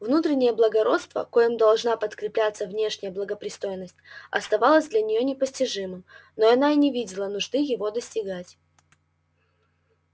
внутреннее благородство коим должна подкрепляться внешняя благопристойность оставалась для неё недостижимым да она и не видела нужды его достигать